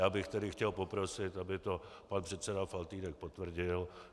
Já bych tedy chtěl poprosit, aby to pan předseda Faltýnek potvrdil.